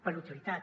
per utilitat